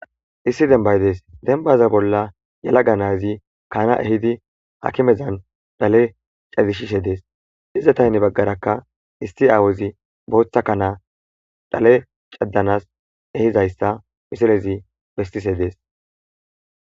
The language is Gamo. issi denbay dees denbaza bolla yalaga na7azika na7a ehidi hakimezan dhale cazisishe dees izatape hine baggarakka isti aawuzi bootha kanaa dhale caddanas ehizayssa misilezi bessishe dees.